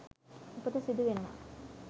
උපත සිදු වෙනවා.